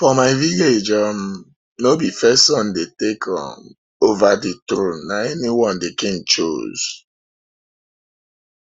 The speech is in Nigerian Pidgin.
for my village um no be first son dey take um over the throne na anyone the um king choose